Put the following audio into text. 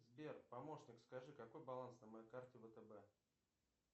сбер помощник скажи какой баланс на моей карте втб